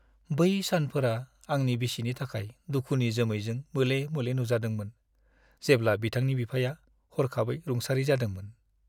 बै सानफोरा आंनि बिसिनि थाखाय दुखुनि जोमैजों मोले-मोले नुजादोंमोन, जेब्ला बिथांनि बिफाया हरखाबै रुंसारि जादोंमोन।